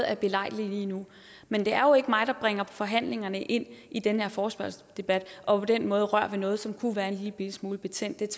er belejligt lige nu men det er jo ikke mig der bringer forhandlingerne ind i den her forespørgselsdebat og på den måde rører ved noget som kunne være en lillebitte smule betændt det